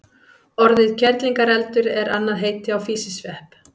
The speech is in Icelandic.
Orðið kerlingareldur er annað heiti á físisvepp.